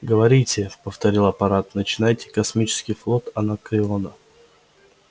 говорите повторил апорат начинайте космический флот анакреона